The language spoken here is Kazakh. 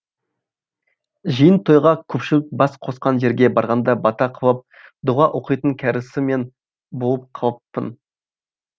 жиын тойға көпшілік бас қосқан жерге барғанда бата қылып дұға оқитын кәрісі мен болып қалыппын